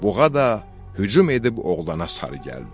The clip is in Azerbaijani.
Buğa da hücum edib oğlana sarı gəldi.